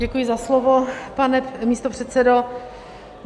Děkuji za slovo, pane místopředsedo.